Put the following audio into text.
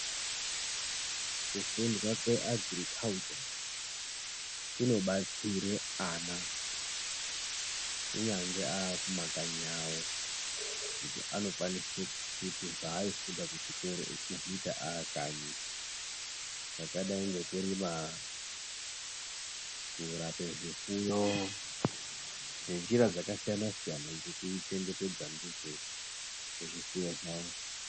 Kufundwa kweagirikhaucha kunobatsire ana kunyangwe aamumakanyi awo ngekuti anokwanise kuchiti zvaaifunda kuchikora echizviita aakanyi. Zvakadai ngekurima, kurape zvifuyo ngenjira dzakasiyana siyana dzekuchengetedza ndidzo zvifuyo zvavo.